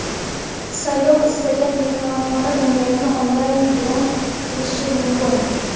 Sayyoh istagan mehmonxona nomerini onlayn bron qilishi mumkin.